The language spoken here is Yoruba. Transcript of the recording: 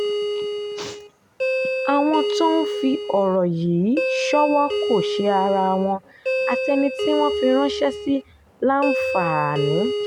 àwọn tó ń fi ọ̀rọ̀ yìí ṣọ́wó kò ṣe ara wọn àti ẹni tí wọ́n fi ránṣẹ́ sí láǹfààní